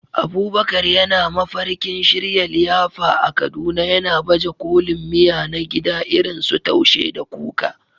Abubakar yana mafarkin shirya liyafa a Kaduna, yana baje kolin miya na gida irin su Taushe da Kuka.